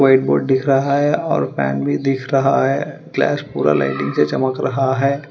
White board दिख रहा है और फैन भी दिख रहा है क्लास पूरा लाइटिंग से चमक रहा है।